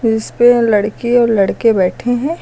इसपे लड़की और लड़के बैठे हैं।